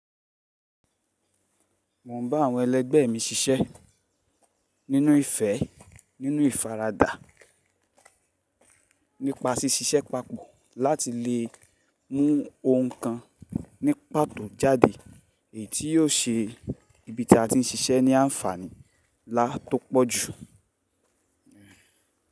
Mo ń bá àwọn ẹlẹgbẹ́ mi ṣiṣẹ́ nínú ìfẹ́, nínú ìfaradà, nípa sí ṣiṣẹ́ papọ̀ láti lè mú ohun kan ní pàtó jáde, èyí tí yóò ṣe ibi tí a ti ń ṣiṣẹ́ ní àǹfàní nlá tọ́ pọ̀jù.